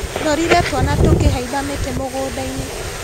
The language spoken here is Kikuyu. Ndorire twana tũkĩhaimba mĩtĩ mũgundainĩ.